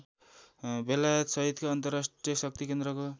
बेलायतसहितका अन्तर्राष्ट्रिय शक्तिकेन्द्रको